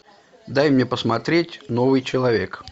дай мне посмотреть новый человек